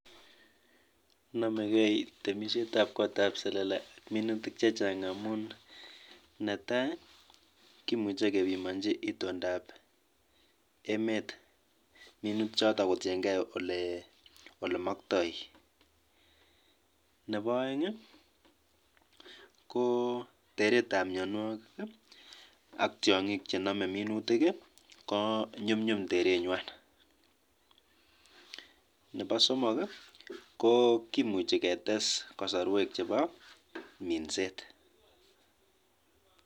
Amune sikonomegei temisietab kotab selele ak minutik chechang'?